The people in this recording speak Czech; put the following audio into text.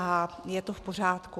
A je to v pořádku.